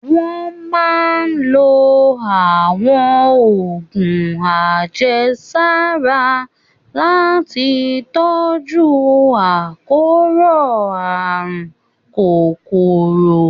Wọ́n máa ń lo àwọn oògùn àjẹsára láti tọ́jú àkóràn àrùn kòkòrò